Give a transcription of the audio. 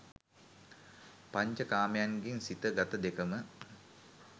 පංච කාමයන්ගෙන් සිත, ගත දෙකම